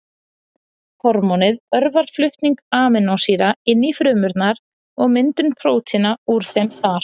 Hormónið örvar flutning amínósýra inn í frumurnar og myndun prótína úr þeim þar.